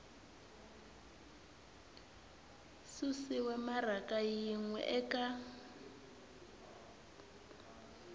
susiwe maraka yin we eka